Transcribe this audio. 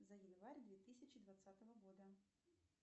за январь две тысячи двадцатого года